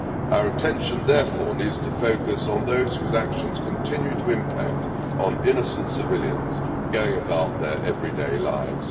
Our attention therefore needs to focus on those whose actions continue to impact on innocent civilians going about their everyday lives.